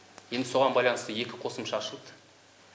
енді соған байланысты екі қосымша ашылды